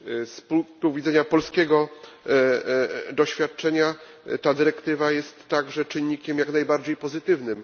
Z punktu widzenia polskiego doświadczenia ta dyrektywa jest także czynnikiem jak najbardziej pozytywnym.